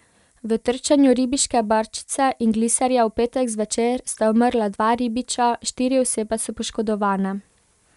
V trčenju ribiške barčice in gliserja v petek zvečer sta umrla dva ribiča, štiri osebe so poškodovane.